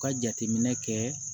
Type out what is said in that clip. Ka jateminɛ kɛ